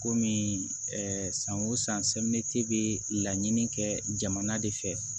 Komi san o san bɛ laɲini kɛ jamana de fɛ